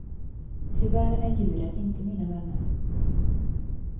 Tyvärr är djuren inte mina vänner.